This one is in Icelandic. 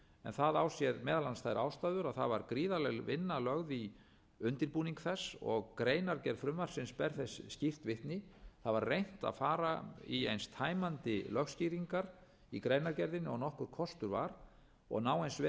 það á sér meðal annars þær ástæður að það var gríðarleg vinna lögð í undirbúning þess og greinargerð frumvarpsins ber þess skýrt vitni það var reynt að fara í eins tæmandi lögskýringar í greinargerðinni og nokkur kostur var og ná eins vel